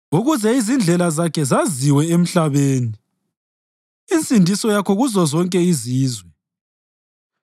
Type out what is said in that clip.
ukuze izindlela zakho zaziwe emhlabeni, insindiso yakho kuzozonke izizwe.